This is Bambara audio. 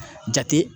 Jate